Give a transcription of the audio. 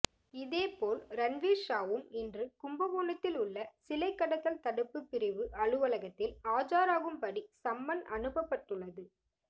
இதே போல் ரன்வீர்ஷாவும் இன்று கும்பகோணத்தில் உள்ள சிலை கடத்தல் தடுப்பு பிரிவு அலுவலகத்தில் ஆஜராகும்படி சம்மன் அனுப்பப்பட்டுள்ளது